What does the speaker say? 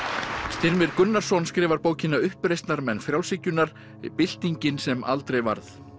Styrmir Gunnarsson skrifar bókina uppreisnarmenn frjálshyggjunnar byltingin sem aldrei varð